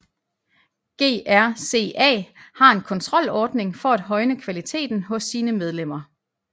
GRCA har en kontrolordning for at højne kvaliteten hos sine medlemmer